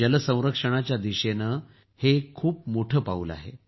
जल संरक्षणाच्या दिशेने हे एक खूप मोठं पाऊल आहे